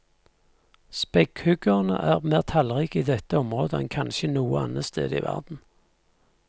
Spekkhuggerne er mer tallrike i dette området enn kanskje noe annet sted i verden.